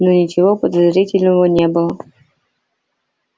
но ничего подозрительного не было